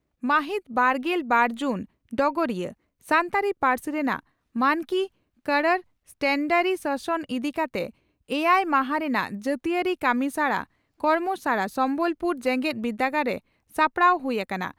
ᱢᱟᱹᱦᱤᱛ ᱵᱟᱨᱜᱮᱞ ᱵᱟᱨ ᱡᱩᱱ (ᱰᱚᱜᱚᱨᱤᱭᱟᱹ) ᱺ ᱥᱟᱱᱛᱟᱲᱤ ᱯᱟᱹᱨᱥᱤ ᱨᱮᱱᱟᱜ ᱢᱟᱱᱠᱤ ᱠᱚᱨᱚᱬ ᱥᱴᱮᱱᱰᱟᱨᱤᱥᱚᱥᱚᱱ) ᱤᱫᱤ ᱠᱟᱛᱮ ᱮᱭᱟᱭ ᱢᱟᱦᱟᱸ ᱨᱮᱱᱟᱜ ᱡᱟᱹᱛᱤᱭᱟᱹᱨᱤ ᱠᱟᱢᱤᱥᱟᱲᱟ (ᱠᱚᱨᱢᱚᱥᱟᱲᱟ) ᱥᱚᱢᱵᱚᱞ ᱯᱩᱨ ᱡᱮᱜᱮᱛ ᱵᱤᱨᱫᱟᱹᱜᱟᱲ ᱨᱮ ᱥᱟᱯᱲᱟᱣ ᱦᱩᱭ ᱟᱠᱟᱱᱟ ᱾